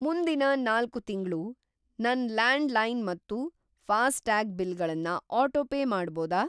ಮುಂದಿನ್‌ ನಾಲ್ಕು ತಿಂಗ್ಳು ನನ್‌ ಲ್ಯಾಂಡ್‌ಲೈನ್ ಮತ್ತು ಫಾಸ್ಟ್ಯಾಗ್ ಬಿಲ್‌ಗಳನ್ನ ಆಟೋಪೇ ಮಾಡ್ಬೋದಾ?